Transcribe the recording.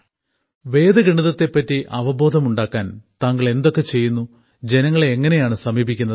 വേദഗണിതത്തെപ്പറ്റി അവബോധമുണ്ടാക്കാൻ താങ്കൾ എന്തൊക്കെ ചെയ്യുന്നു ജനങ്ങളെ എങ്ങനെയാണ് സമീപിക്കുന്നത്